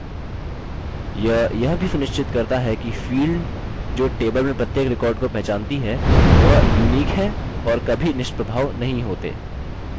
यह यह भी सुनिश्चित करता है कि field जो table में प्रत्येक record को पहचानती है वह unique हैं और कभी निष्प्रभाव नहीं होते